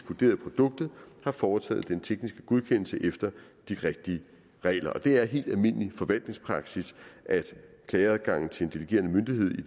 vurderet produktet har foretaget den tekniske godkendelse efter de rigtige regler det er helt almindelig forvaltningspraksis at klageadgangen til en delegerende myndighed i